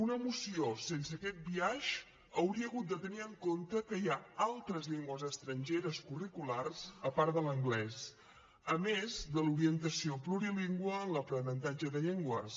una moció sense aquest biaix hauria hagut de tenir en compte que hi ha altres llengües estrangeres curriculars a part de l’anglès a més de l’orientació plurilingüe en l’aprenentatge de llengües